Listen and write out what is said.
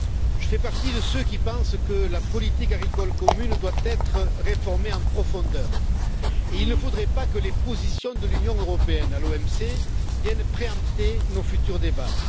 Je fais partie de ceux qui pensent que la politique agricole commune doit être réformée en profondeur et il ne faudrait pas que les positions de l'Union européenne à l'OMC viennent préempter nos futurs débats.